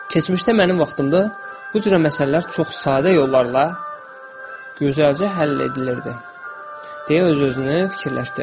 Keçmişdə mənim vaxtımda bu cür məsələlər çox sadə yollarla gözəlcə həll edilirdi, deyə öz-özünə fikirləşdi.